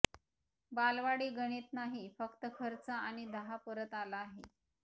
बालवाडी गणित नाही फक्त खर्च आणि दहा परत आला आहे